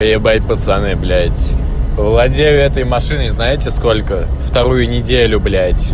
ебать пацаны блять владею этой машиной знаете сколько вторую неделю блять